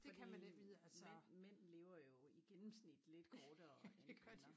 Fordi mænd mænd lever jo i gennemsnit lidt kortere end kvinder